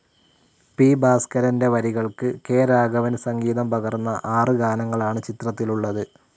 P. ഭാസ്കരൻ്റെ വരികൾക്ക് K. Raghavan സംഗീതം പകർന്ന ആറ് ഗാനങ്ങളാണ് ചിത്രത്തിലുളളത്.